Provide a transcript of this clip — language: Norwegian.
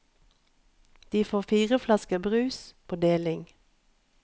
De får fire flasker med brus på deling.